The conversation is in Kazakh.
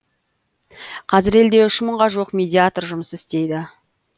қазір елде үш мыңға жуық медиатор жұмыс істейді